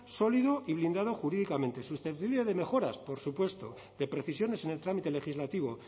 sólido y blindado jurídicamente susceptible de mejoras por supuesto de precisiones en el trámite legislativo